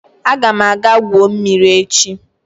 Aga m aga gwuo mmiri echi